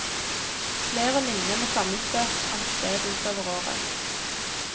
Flere lignende sammenstøt fant sted utover året.